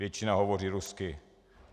Většina hovoří rusky.